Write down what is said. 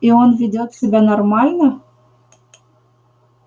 и он ведёт себя нормально